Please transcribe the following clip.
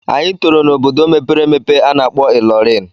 Anyị tọrọ n'obodo mepere emepe a na-akpọ Ilorin.